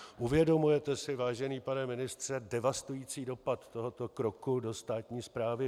Uvědomujete si, vážený pane ministře, devastující dopad tohoto kroku do státní správy?